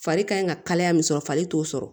Fari kan in ka kalaya min sɔrɔ fari t'o sɔrɔ